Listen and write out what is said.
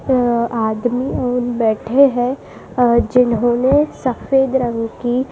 अ आदमी बैठे है अ जिन्होंने सफेद रंग की --